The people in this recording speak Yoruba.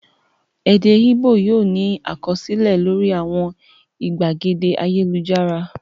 Èdè Ìgbò yóò ní àkọsílẹ̀ lórí àwọn ìgbàgede ayélujára.